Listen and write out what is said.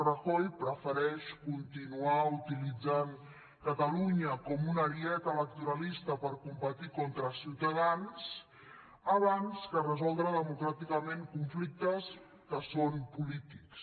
rajoy prefereix continuar utilitzant catalunya com un ariet electoralista per competir contra ciutadans abans que resoldre democràticament conflictes que són polítics